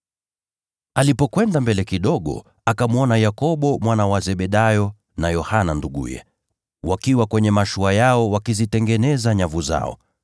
Alipokwenda mbele kidogo, akamwona Yakobo mwana wa Zebedayo na Yohana nduguye, wakiwa kwenye mashua yao wakizitengeneza nyavu zao.